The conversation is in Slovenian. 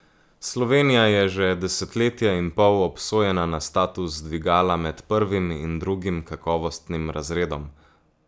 Slovenija je že desetletje in pol obsojena na status dvigala med prvim in drugim kakovostnim razredom.